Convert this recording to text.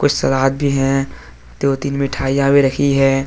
सलाद भी हैं दो तीन मिठाईयां भी रखी है।